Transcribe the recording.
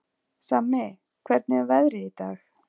Sammi, hvernig er veðrið í dag?